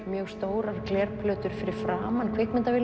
mjög stórar glerplötur fyrir framan